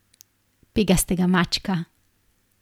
Pegastega mačka.